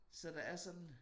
Så der er sådan